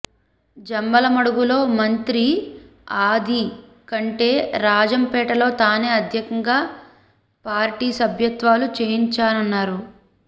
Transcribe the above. జమ్మలమడుగులో మంత్రి ఆది కంటే రాజంపేటలో తానే అత్యధికంగా పార్టీ సభ్యత్వాలు చేయించానన్నారు